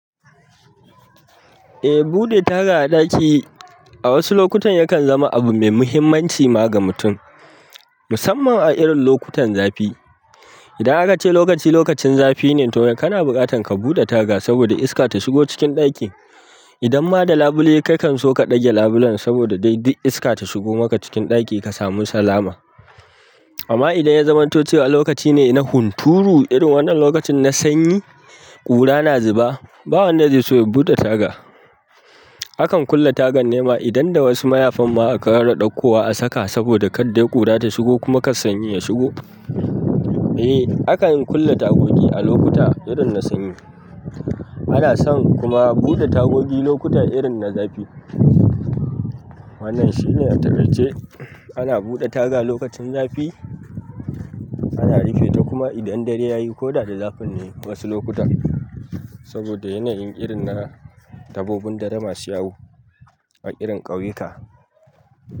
Eh, buɗe taga a ɗaki a wasu lokutan yakan zama abu mai muhimmanci ma ga mutum, musamman a irin lokutan zafi. Idan aka ce lokaci lokacin zafi ne, to kana buƙatan ka buɗe taga saboda iska ta shigo cikin ɗaki. Idan ma da labule kakan so ka dage labulen saboda dai duk iska ta shigo maka cikin ɗaki ka samu salama. Amma idan zamato cewa lokacin huturu, irin wannan lokacin na sanyi ƙura na zuba, babu wanda zai so ya buɗe taga. Akan kulle tagan ne ma idan da wasu mayafan ma a ƙara ɗaukowa a saka saboda kadda ƙura ta shigo kuma kar sanyi ya shigo. Eh, akan kulle tagogi a lokuta irin na sanyi. Ana son kuma buɗe tagogi lokuta irin na zafi. Wannan shine a takaice, ana buɗe taga lokacin zafi, ana rufe ta kuma idan dare yayi ko da da zafin ne wasu lokuta. Saboda yanayin irin na dabbobin dare ma su yawo a irin ƙauyuka.